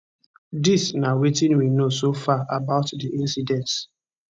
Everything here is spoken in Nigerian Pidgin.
dis na wetin we know so far about di incidence